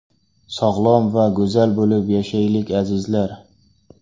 Sog‘lom va go‘zal bo‘lib yashaylik, azizlar!